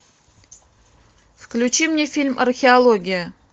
включи мне фильм археология